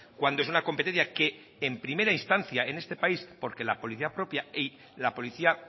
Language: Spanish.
cuando es una competencia que en primera instancia en este país porque la policía propia y la policía